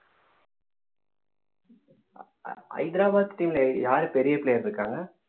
Hyderabad team ல யார் பெரிய player இருக்காங்க